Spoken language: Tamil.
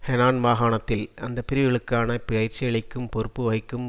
ஹெனான் மாகாணத்தில் அந்த பிரிவுகளுக்கான பயிற்சியளிக்கும் பொறுப்பு வகிக்கும்